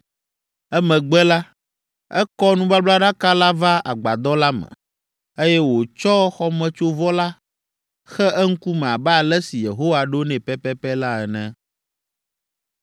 Emegbe la, ekɔ nubablaɖaka la va agbadɔ la me, eye wòtsɔ xɔmetsovɔ la xe eŋkume abe ale si Yehowa ɖo nɛ pɛpɛpɛ la ene.